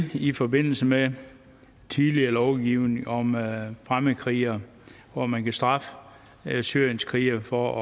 i forbindelse med tidligere lovgivning om fremmedkrigere hvor man kan straffe syrienskrigere for